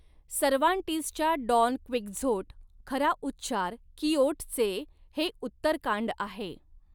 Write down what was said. सर्वान्टिजच्या Don Quixote खरा उच्चार किओट चे हे उत्तरकांड आहे